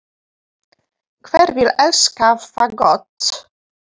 Hver vill elska fagott?